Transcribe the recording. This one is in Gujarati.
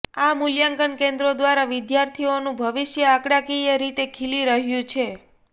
આ મૂલ્યાંકન કેન્દ્રો દ્વારા વિદ્યાર્થીઓનું ભવિષ્ય આંકડાકીય રીતે ખીલી રહ્યું છે